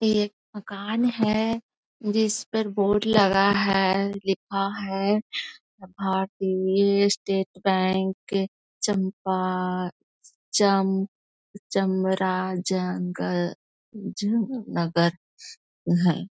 ये एक मकान है जिस पर बोर्ड लगा है। लिखा है भारतीय स्टेट बैंक चंपा चम चामरा जंगल ज नगर है।